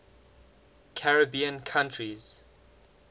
caribbean countries